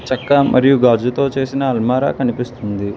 చక్కా మరియు గాజుతో చేసిన అల్మారా కనిపిస్తుంది.